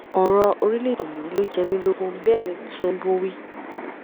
ọrọ orílẹèdè yìí ló jẹ mí lógún bẹẹ ní tìǹbù wí